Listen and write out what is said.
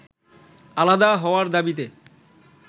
আলাদা হওয়ার দাবিতে